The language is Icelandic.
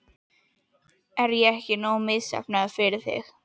Er ég ekki nógu misheppnaður fyrir þig?